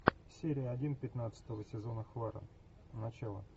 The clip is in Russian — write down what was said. серия один пятнадцатого сезона хваран начало